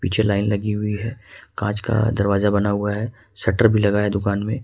पीछे लाइन लगी हुई है कांच का दरवाजा बना हुआ है शटर भी लगा है दुकान में।